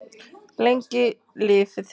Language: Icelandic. Lengi lifi þeir!